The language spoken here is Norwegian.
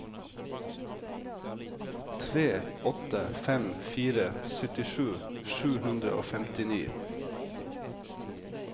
tre åtte fem fire syttisju sju hundre og femtini